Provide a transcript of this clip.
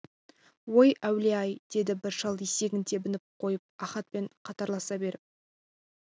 ой әулие-ай деді бір шал есегін тебініп қойып ахатпен қатарласа беріп